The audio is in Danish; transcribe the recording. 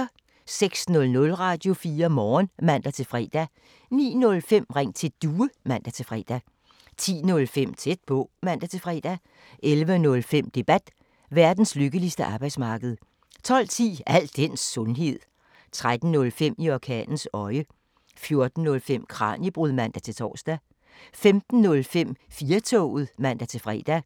06:00: Radio4 Morgen (man-fre) 09:05: Ring til Due (man-fre) 10:05: Tæt på (man-fre) 11:05: Debat: Verdens lykkeligste arbejdsmarked 12:10: Al den sundhed 13:05: I orkanens øje 14:05: Kraniebrud (man-tor) 15:05: 4-toget (man-fre)